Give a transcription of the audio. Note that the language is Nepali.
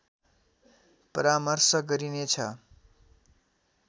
परामर्श गरिने छ